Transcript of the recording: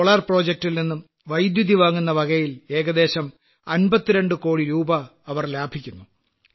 ഈ സൌരോർജ്ജ പദ്ധതിയിൽ നിന്നും വൈദ്യുതി വാങ്ങുന്നവകയിലും ഏകദേശം 52 കോടി രൂപ അവർ ലാഭിക്കുന്നു